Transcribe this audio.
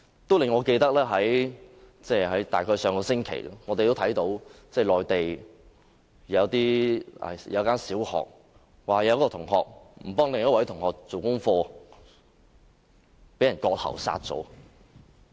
這件事令我想到，大約在上星期，內地一間小學一名學生，因為不幫助另一位學生做功課而被割喉殺死。